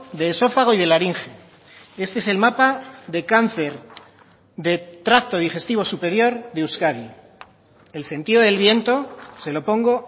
de esófago y de laringe este es el mapa de cáncer de tracto digestivo superior de euskadi el sentido del viento se lo pongo